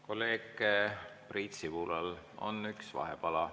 Kolleeg Priit Sibulal on üks vahepala.